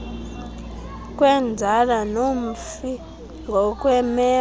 kwenzala nomfi ngokwemeko